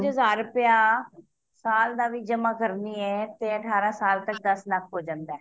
ਪੰਜ ਹਜ਼ਾਰ ਰੁਪਯਾ ਸਾਲ ਦਾ ਵੀ ਜਮਾ ਕਰਦੀ ਐ ਤੇ ਅਠਾਰਹ ਸਾਲ ਤੱਕ ਦੱਸ ਲੱਖ ਹੋ ਜਾਂਦਾ